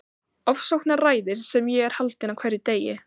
Ofsóknaræðis sem ég er haldinn á hverjum degi.